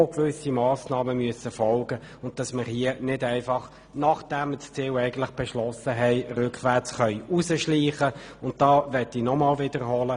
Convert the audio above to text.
Man kann hier nicht einfach rückwärts aus dem beschlossenen Ziel hinausschleichen.